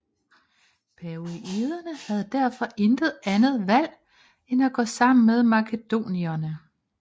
Paionierne havde derfor intet andet valg end gå sammen med makedonierne